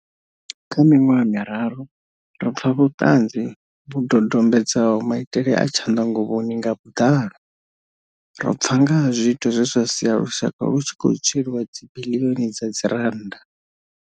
Kha miṅwaha miraru, ro pfa vhutanzi vhu dodombedzaho maitele a tshanḓanguvhoni nga vhuḓalo. Ro pfa nga ha zwiito zwe zwa sia lushaka lu tshi khou tsweliwa dzibiḽioni dza dzirannda.